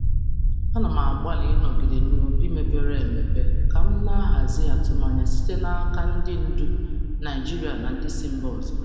Ana m agbalị ịnọgide n'obi mepere emepe ka m na-ahazi atụmanya m na-ahazi atụmanya site n'aka ndị ndu Naịjirịa na ndị si mba ọzọ.